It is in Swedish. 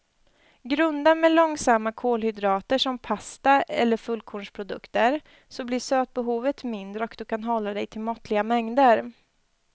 Grunda med långsamma kolhydrater som pasta eller fullkornsprodukter så blir sötbehovet mindre och du kan hålla dig till måttliga mängder.